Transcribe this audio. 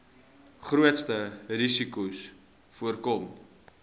grootste risikos voorkom